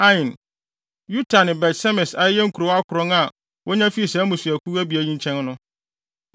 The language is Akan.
Ain, Yuta ne Bet-Semes a ɛyɛ nkurow akron a wonya fii saa mmusuakuw abien yi nkyɛn no.